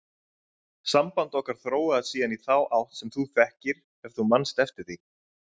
Samband okkar þróaðist síðan í þá átt sem þú þekkir ef þú manst eftir því.